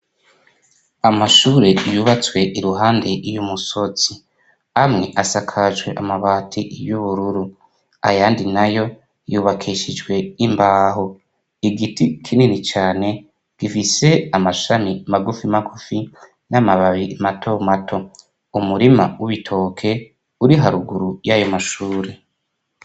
Amashure yubatswe iruhande y'umusozi. Amwe asakajwe amabati y'ubururu ayandi nayo yubakishijwe imbaho. Igiti kinini cane gifise amashami magufi magufi n'amababi mato mato. Umurima w'ibitoke uri haruguru y'ayo mashuri.